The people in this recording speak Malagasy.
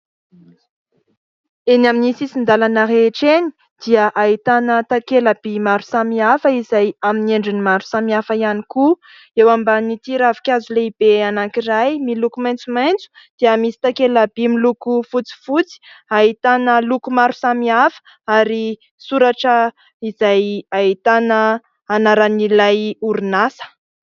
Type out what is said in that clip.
Eny amin'ny sisin-dalana rehetra eny dia ahitana takela-by maro samihafa izay amin'ny endriny maro samihafa ihany koa. Eo ambanin'ity ravinkazo lehibe anankiray miloko maitsomaitso dia misy takela-by miloko fotsifotsy, ahitana loko maro samihafa ary soratra izay ahitana anaran'ilay orinasa.